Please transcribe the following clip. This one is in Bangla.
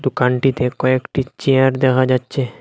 দোকানটিতে কয়েকটি চেয়ার দেখা যাচ্চে।